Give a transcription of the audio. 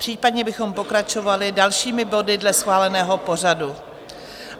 Případně bychom pokračovali dalšími body dle schváleného pořadu.